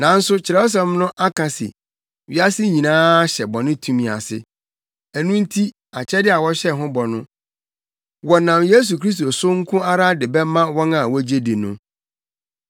Nanso Kyerɛwsɛm no aka se wiase nyinaa hyɛ bɔne tumi ase. Ɛno nti akyɛde a wɔhyɛɛ ho bɔ no, wɔnam Yesu Kristo so nko ara de bɛma wɔn a wogye di no.